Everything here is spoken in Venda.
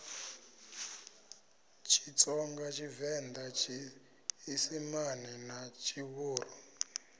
tshitsonga tshivenḓa tshiisimane na tshivhuru